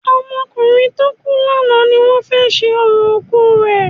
Ọmọ ọkùnrin tó kù ni àná ni wọ́n fé ṣe orò òkú rẹ